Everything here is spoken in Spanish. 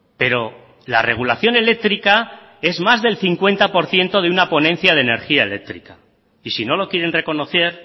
pero la regulación eléctrica es más del cincuenta por ciento de una ponencia de energía eléctrica y si no lo quieren reconocer